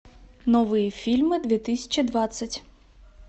новые фильмы две тысячи двадцать